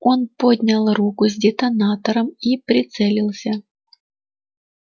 он поднял руку с детонатором и прицелился